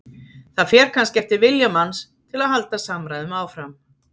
Það fer kannski eftir vilja manns til að halda samræðum áfram.